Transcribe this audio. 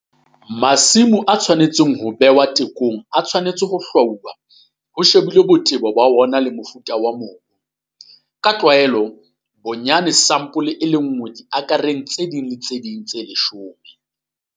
Masimo a tshwanetseng ho behwa tekong a tshwanetse ho hlwauwa ho shebilwe botebo ba ona le mofuta wa mobu. Ka tlwaelo bonyane ke sampole e le nngwe diakereng tse ding le tse ding tse leshome.